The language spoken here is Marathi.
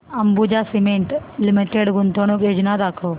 अंबुजा सीमेंट लिमिटेड गुंतवणूक योजना दाखव